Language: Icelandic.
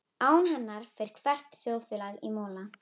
Án hennar fer hvert þjóðfélag í mola.